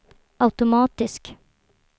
automatisk